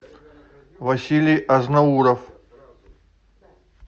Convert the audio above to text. василий азнауров